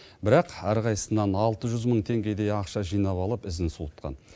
бірақ әрқайсысынан алты жүз мың теңгедей ақша жинап алып ізін суытқан